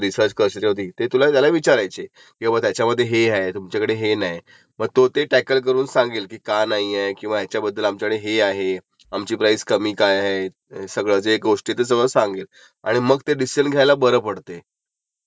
बरं बरं..जसं तू सांगितलय तसं ऑनलाइन ह्याच्यवरून आपणं सगळ्या गाड्यांची कम्पेअर करू शकतो. आणि एकदा जर आपली कुठली गाडी घ्यायची हे ठरलं तर त्यंनंतर आपणं कारची फायनल